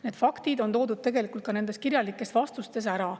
Need faktid on toodud tegelikult ka kirjalikes vastustes ära.